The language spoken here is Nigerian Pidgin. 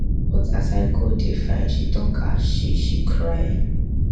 but i go dey fine she tok as she she cry